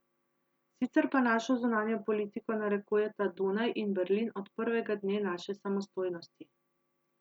Sicer pa našo zunanjo politiko narekujeta Dunaj in Berlin od prvega dne naše samostojnosti.